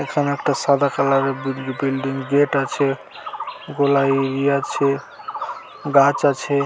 এখানে একটা সাদা কালার -এর বিল বিল্ডিং গেট আছে গলায়ই আছে গাছ আছে